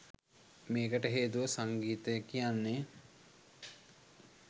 මේකට හේතුව සංගීතය කියන්නේ